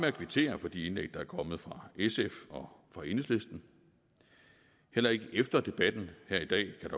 at kvittere for de indlæg der er kommet fra sf og enhedslisten heller ikke efter debatten her i dag kan